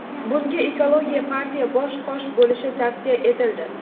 Bunga Ekologiya partiya bosh-qosh bo‘lishi tavsiya etildi.